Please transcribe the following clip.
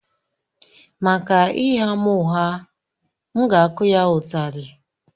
Maka ịgha m ụgha, m ga-akụ ya ụtali